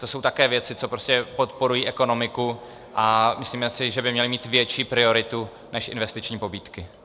To jsou také věci, co prostě podporují ekonomiku, a myslíme si, že by měly mít větší prioritu než investiční pobídky.